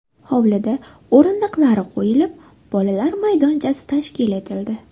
Hovlida o‘rindiqlar qo‘yilib, bolalar maydonchasi tashkil etildi.